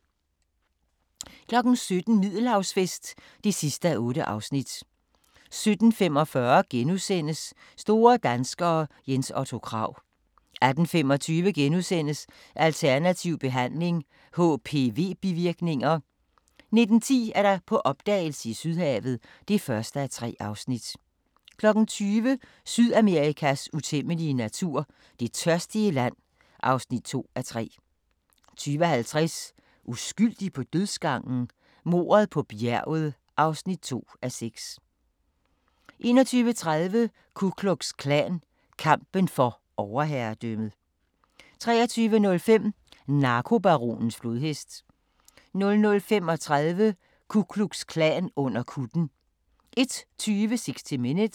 17:00: Middelhavsfest (8:8) 17:45: Store danskere - Jens Otto Krag * 18:25: Alternativ Behandling - HPV-bivirkninger * 19:10: På opdagelse i Sydhavet (1:3) 20:00: Sydamerikas utæmmelige natur – Det tørstige land (2:3) 20:50: Uskyldig på dødsgangen? Mordet på bjerget (2:6) 21:30: Ku Klux Klan – kampen for overherredømmet 23:05: Narkobaronens flodhest 00:35: Ku Klux Klan under kutten 01:20: 60 Minutes